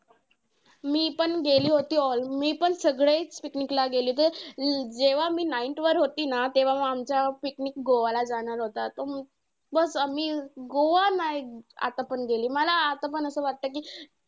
मी पण गेली होती all. मी पण सगळेच picnic ला गेली होतो. अं जेव्हा मी ninth वर होती ना तेव्हा आमचा picnic गोवाला जाणार होता. तो बस्स मी गोवा नाही आतापण गेली. मला आतापण असं वाटतं कि